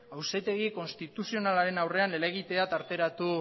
auzitegi konstituzionalaren aurrean helegitea tarteratu